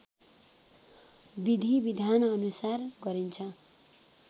विधि विधानअनुसार गरिन्छ